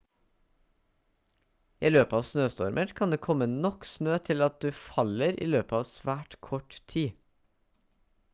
i løpet av snøstormer kan det komme nok snø til at du faller i løpet av svært kort tid